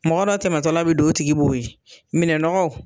Mɔgɔ dɔ tɛmɛtɔla be do o tigi b'o ye. Minɛnɔgɔw